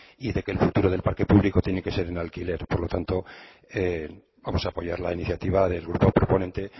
y que el futuro del parque público tiene que ser en alquiler por lo tanto vamos a apoyar la iniciativa del grupo proponente